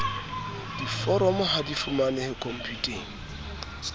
diforomo ha di fumanehe khomputeng